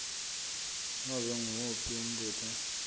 nobe nguwuphi umbuto